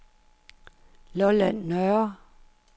Lolland Nørre